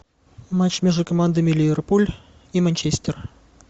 матч между командами ливерпуль и манчестер